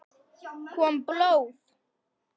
Kom blóð?